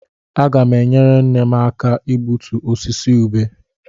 Aga m enyere nne m aka igbutu osisi ubé.